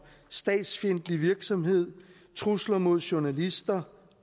statsfjendtlig virksomhed trusler mod journalister og